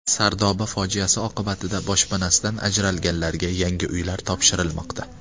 Sardoba fojiasi oqibatida boshpanasidan ajralganlarga yangi uylar topshirilmoqda.